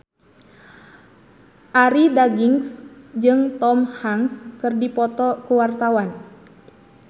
Arie Daginks jeung Tom Hanks keur dipoto ku wartawan